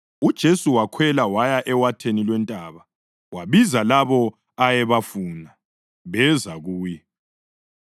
UJesu wakhwela waya ewatheni lwentaba wabiza labo ayebafuna, beza kuye.